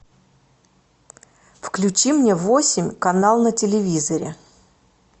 включи мне восемь канал на телевизоре